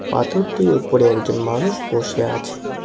পাথরটির উপরে একজন মানুষ বসে আছে।